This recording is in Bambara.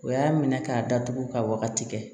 O y'a minɛ k'a datugu ka wagati kɛ